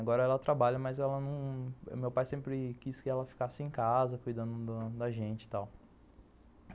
Agora ela trabalha, mas ela não, meu pai sempre quis que ela ficasse em casa cuidando da gente e tal.